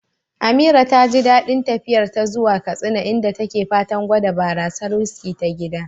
Amira taji dain tafiyarta ta zuwa Katsina, inda take fatan gwada barasar "whiskey" ta gida.